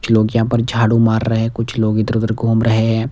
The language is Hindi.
कुछ लोग यहाँ पर झाड़ू मार रहे हैं कुछ लोग इधर-उधर घूम रहे हैं।